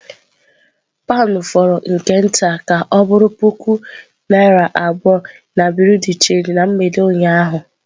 Pound fọrọ nke nta ka ọ bụrụ puku naira abụọ na bureau de change na mgbede ụnyaahụ.